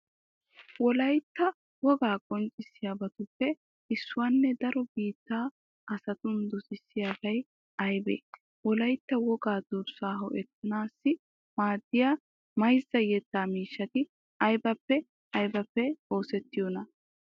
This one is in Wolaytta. Wolaytta wogaa qonccissiyabatuppe issuwanne daro biittaa asatun dosettiyabi aybee? Wolaytta wogaa durssaa ho"ettanaassi maaddiya mayzza yettaa miishshati aybippe aybippe oosettiyonaa?